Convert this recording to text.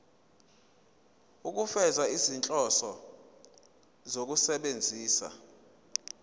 ukufeza izinhloso zokusebenzisa